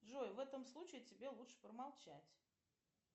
джой в этом случае тебе лучше промолчать